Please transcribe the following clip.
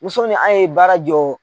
Musonin an ye baara jɔ.